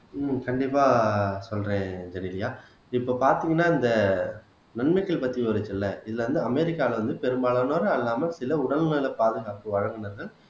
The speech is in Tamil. உம் கண்டிப்பா சொல்றேன் ஜெனிலியா இப்ப பார்த்தீங்கன்னா இந்த நன்மைகள் பத்தி ஒரு சில இதுல வந்து அமெரிக்கால வந்து பெரும்பாலானோரா இல்லாம சில உடல் நல பாதுகாப்பு வழங்குனது